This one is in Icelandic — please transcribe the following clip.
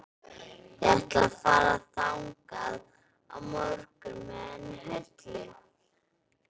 Ég ætla að fara þangað á morgun með henni Höllu.